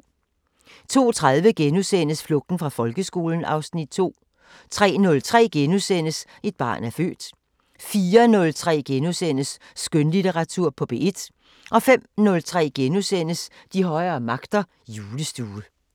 02:30: Flugten fra folkeskolen (Afs. 2)* 03:03: Et barn er født * 04:03: Skønlitteratur på P1 * 05:03: De højere magter: Julestue *